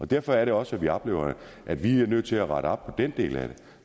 derfor er det også at vi oplever at vi er nødt til at rette op den del af det